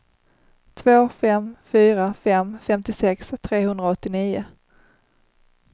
två fem fyra fem femtiosex trehundraåttionio